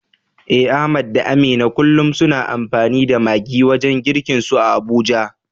Eh Ahmad da Amina kullum suna amfani da maggi wajen girkinsu a Abuja.